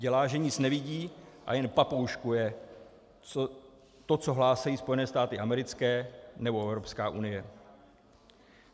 Dělá, že nic nevidí, a jen papouškuje to, co hlásí Spojené státy americké nebo Evropská unie.